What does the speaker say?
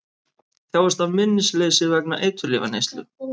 Þjáist af minnisleysi vegna eiturlyfjaneyslu